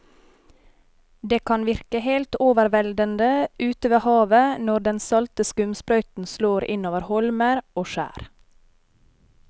Det kan virke helt overveldende ute ved havet når den salte skumsprøyten slår innover holmer og skjær.